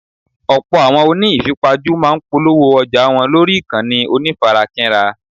Ọ̀pọ̀ àwọn oní ìfipajú máa ń polówó ọjà wọn lórí ìkànnì onífarakínra.